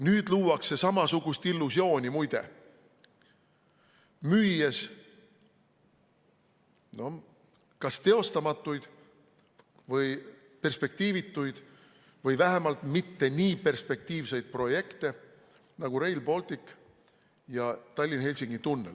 Nüüd luuakse samasugust illusiooni, muide, müües kas teostamatuid, perspektiivituid või vähemalt mitte nii perspektiivseid projekte, nagu Rail Baltic ja Tallinna–Helsingi tunnel.